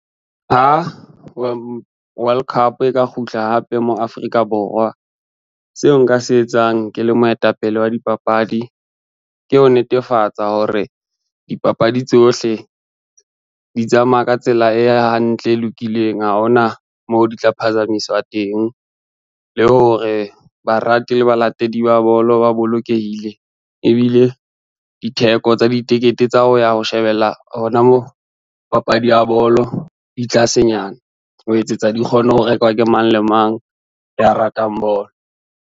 Ha World Cup e ka kgutla hape mo Afrika Borwa. Seo nka se etsang ke le moetapele wa dipapadi, ke ho netefatsa hore dipapadi tsohle di tsamaya ka tsela e hantle, e lokileng ha hona moo di tla phazamiswa teng. Le hore barati le balatedi ba bolo ba bolokehile ebile ditheko tsa ditikete tsa ho ya ho shebella hona mo papadi ya bolo di tlasenyana ho etsetsa di kgone ho rekwa ke mang le mang ya ratang bolo.